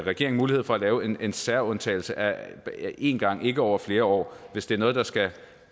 regering mulighed for at lave en en særlig undtagelse én gang ikke over flere år hvis det er noget der skal